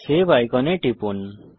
save আইকনে টিপুন